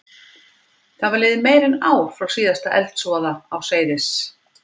Það var liðið meira en ár frá síðasta eldsvoða á Seyðis